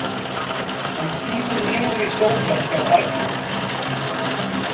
Hann sígur niður í sófann hjá arninum.